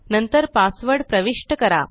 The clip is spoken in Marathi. नंतर पासवर्ड प्रविष्ट करा